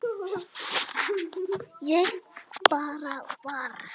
Ég bara varð.